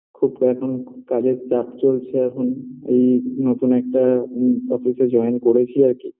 খুব এখন খুব কাজের চাপ চলছে এখন এই নতুন একটা ম office - এ join করেছি আর কি